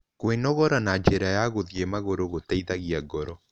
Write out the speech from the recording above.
Kwĩnogora na njĩra ya gũthĩe magũrũ gũteĩthagĩa ngoro